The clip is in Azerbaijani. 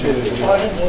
çox şey olar.